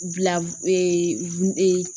Bila ee ee